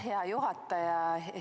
Hea juhataja!